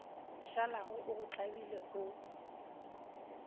šalago o go tlabile o